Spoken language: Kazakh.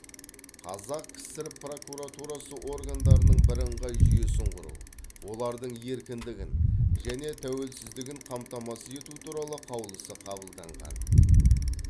қазақ кср прокуратурасы органдарының бірыңғай жүйесін құру олардың еркіндігін және тәуелсіздігін қамтамасыз ету туралы қаулысы қабылданаған